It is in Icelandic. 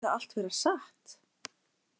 Skyldi það allt vera satt?